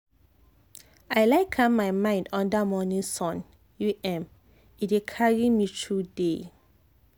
i like calm my mind under morning sun u m — e dey carry me through day.